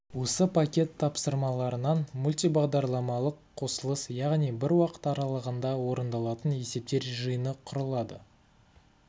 осы пакет тапсырмаларынан мультибағдарламалық қосылыс яғни бір уақыт аралығында орындалатын есептер жиыны құрылады